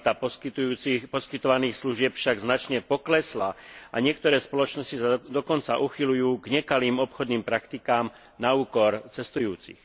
Kvalita poskytovaných služieb však značne poklesla a niektoré spoločnosti sa dokonca uchyľujú k nekalým obchodným praktikám na úkor cestujúcich.